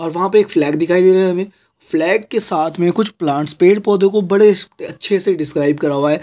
और वहाँ पे फ्लैग दिखाई दे रही है अभी फ्लैग एक साथ मे कुछ प्लांट्स पेड़ पौधों को बड़े अच्छे से डिस्कराइब कर हुआ है।